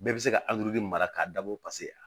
Bɛɛ bɛ se ka mara k'a dabɔ paseke